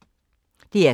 DR K